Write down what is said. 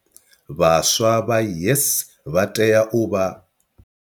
Vhaswa vha YES vha tea u vha.